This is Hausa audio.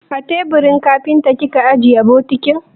A teburin kafinta kika ajiye bokitin?